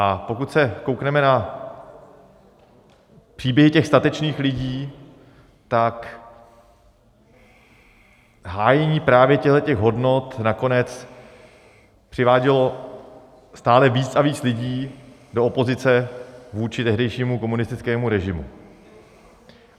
A pokud se koukneme na příběhy těch statečných lidí, tak hájení právě těchto hodnot nakonec přivádělo stále víc a víc lidí do opozice vůči tehdejšímu komunistickému režimu.